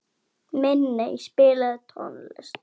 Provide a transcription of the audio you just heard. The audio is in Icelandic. Minney, spilaðu tónlist.